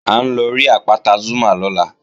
À ń lọ rí àpáta Zúmá lọ́la